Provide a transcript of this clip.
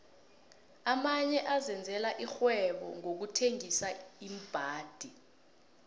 amanye azenzela ixhwebonqokuthengisa iimbhadi